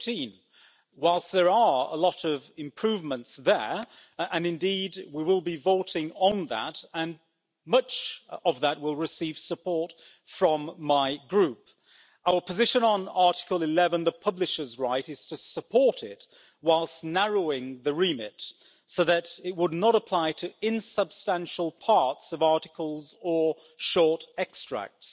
13. Whilst there are a lot of improvements there and indeed we will be voting on that and much of that will receive support from my Group our position on Article 11, the publisher's right, is to support it, whilst narrowing the remit so that it would not apply to insubstantial parts of articles or short extracts.